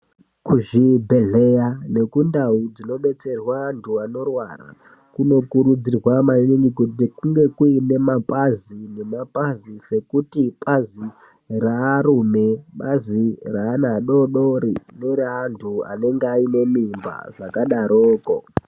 Kuzvibhedhlera nekundau inodetserwa antu anorwara kunokurudzirwa maningi kuti kunge kuine nemapazi mapazi sekuti rearume Bazi reana adodori neantu anenge ane mimba zvakadaroko.